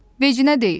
Vecinə deyil.